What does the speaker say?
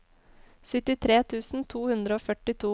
syttitre tusen to hundre og førtito